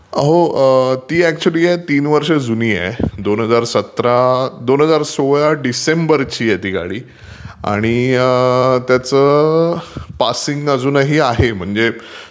हो ..ती आहे ना ऍक्चुली तीन वर्ष जुनी आहे. दोन हजार सतरा ...दोन हजार सोळा डिसेंबरची आहे ती गाडी. आणि त्याच पासिंग अजूनही आहे. म्हणजे